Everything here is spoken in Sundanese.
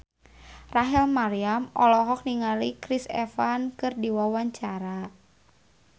Rachel Maryam olohok ningali Chris Evans keur diwawancara